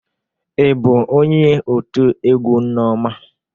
Ị bụ onye otu egwu nneoma?